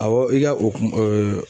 Awɔ i ka o ku ɛɛ